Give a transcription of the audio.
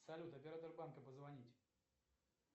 салют оператор банка позвонить